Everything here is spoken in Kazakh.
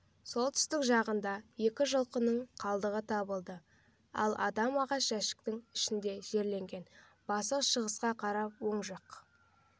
солтүстік жағында екі жылқының қалдығы табылды ал адам ағаш жәшіктің ішіне жерленген басы шығысқа қаратылып оңжақ